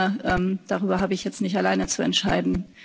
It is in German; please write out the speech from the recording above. Aber darüber habe ich jetzt nicht allein zu entscheiden.